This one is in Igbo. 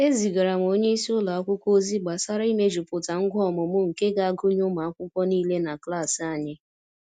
Ezigara m onye isi ụlọ akwụkwọ ozi gbasara imejuputa ngwa ọmụmụ nke ga-agụnye ụmụ akwụkwọ niile na klas anyị.